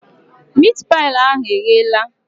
Miit paị ahụ egheela?